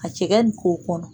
A cɛkɛ dogo o kɔnɔ.